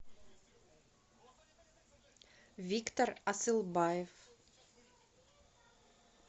виктор асылбаев